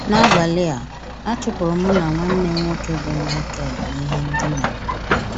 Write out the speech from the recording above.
N’abalị a, a chụpụrụ mụ na nwanne m nwoke bụ́ Michael n’ihe ndina m.